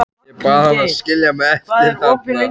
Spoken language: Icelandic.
Ég bað hann að skilja mig eftir þarna.